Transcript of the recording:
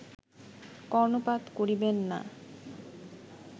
কর্ণপাত করিবেন না